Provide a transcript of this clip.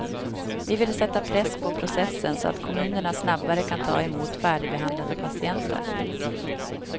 Vi vill sätta press på processen så att kommunerna snabbare kan ta emot färdigbehandlade patienter.